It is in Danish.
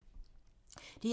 DR2